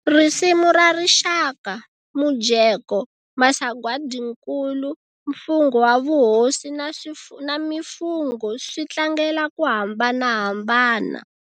Risimu ra rixaka, mujeko, masagwadinkulu, mfungho wa vuhosi na mifungho swi tlangela ku hambanahambana.